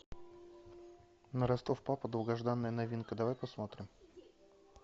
на ростов папа долгожданная новинка давай посмотрим